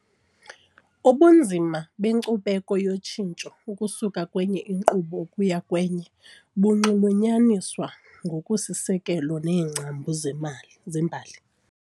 Ubunzima benkcubeko yotshintsho ukusuka kwenye inkqubo ukuya kwenye bunxulunyaniswa ngokusisiseko neengcambu zemali zembali.